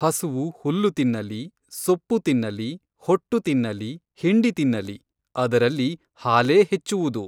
ಹಸುವು ಹುಲ್ಲು ತಿನ್ನಲಿ, ಸೊಪ್ಪು ತಿನ್ನಲಿ, ಹೊಟ್ಟು ತಿನ್ನಲಿ, ಹಿಂಡಿ ತಿನ್ನಲಿ, ಅದರಲ್ಲಿ ಹಾಲೇ ಹೆಚ್ಚುವುದು.